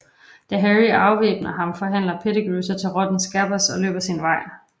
Da Harry afvæbner ham forvandler Pettigrew sig til rotten Scabbers og løber sin vej